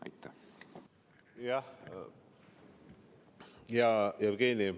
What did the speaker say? Hea Jevgeni!